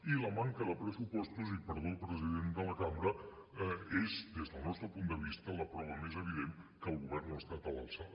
i la manca de pressupostos i perdó president de la cambra és des del nostre punt de vista la prova més evident que el govern no ha estat a l’alçada